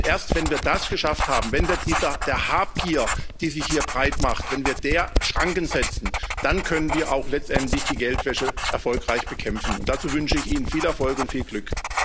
Und erst, wenn wir das geschafft haben, wenn wir der Habgier, die sich hier breitmacht, Schranken setzen, dann können wir auch letztendlich die Geldwäsche erfolgreich bekämpfen. Und dazu wünsche ich Ihnen viel Erfolg und viel Glück!